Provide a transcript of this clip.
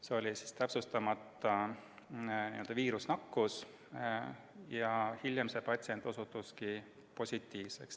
Tegemist oli täpsustamata viirusnakkusega ja hiljem patsient osutuski positiivseks.